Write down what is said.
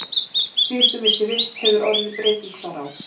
Síðustu misseri hefur orðið breyting þar á.